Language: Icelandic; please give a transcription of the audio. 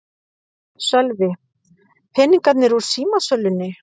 Sölvi: Peningarnir úr símasölunni?